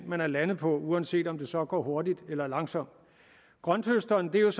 man er landet på uanset om det så går hurtigt eller langsomt grønthøstermetoden er